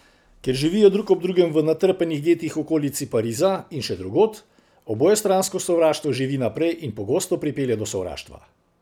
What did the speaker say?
Ker živijo drug ob drugem v natrpanih getih v okolici Pariza in še drugod, obojestransko sovraštvo živi naprej in pogosto pripelje do sovraštva.